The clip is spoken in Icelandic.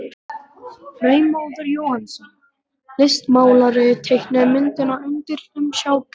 Freymóður Jóhannsson, listmálari, teiknaði myndina undir umsjá Guðjóns.